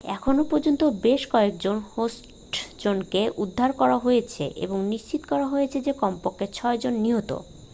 এখনও পর্যন্ত বেশ কয়েকজন হোস্টেজকে উদ্ধার করা হয়েছে এবং নিশ্চিত করা হয়েছে যে কমপক্ষে ছয়জন নিহত